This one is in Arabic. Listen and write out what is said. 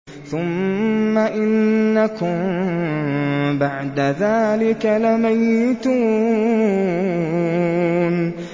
ثُمَّ إِنَّكُم بَعْدَ ذَٰلِكَ لَمَيِّتُونَ